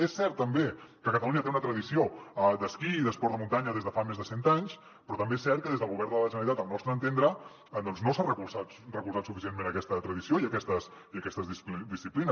és cert també que catalunya té una tradició d’esquí i d’esports de muntanya des de fa més de cent anys però també és cert que des del govern de la generalitat al nostre entendre doncs no s’ha recolzat suficientment aquesta tradició i aquestes disciplines